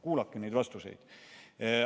Kuulake neid vastuseid!